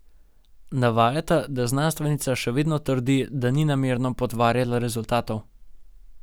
Navajata, da znanstvenica še vedno trdi, da ni namerno potvarjala rezultatov.